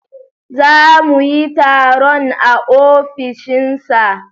Za mu yi taron a ofishin sa